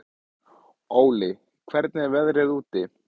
Óli, hvernig er veðrið úti?